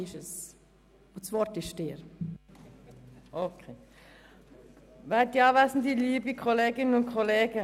Das Wort hat die Antragstellerin Grossrätin Machado Rebmann.